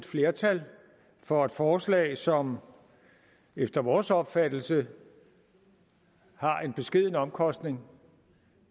flertal for et forslag som efter vores opfattelse har en beskeden omkostning